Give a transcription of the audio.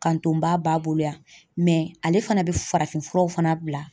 Ka n to n ba b'a bolo yan ale fana bɛ farafinfuraw fana bila.